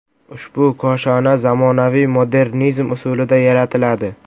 Ushbu koshona zamonaviy modernizm usulida yaratiladi.